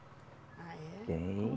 Ah, é? Tem